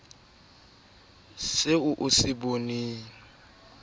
eo a sa e boneng